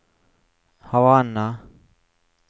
Havanna